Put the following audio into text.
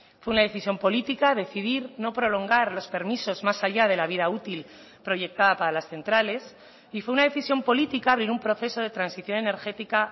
fue una decisión política decidir no prolongar los permisos más allá de la vida útil proyectada para las centrales y fue una decisión política abrir un proceso de transición energética